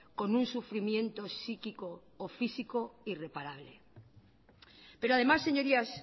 con un sufrimiento psíquico o físico irreparable pero además señorías